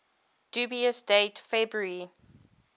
dubious date february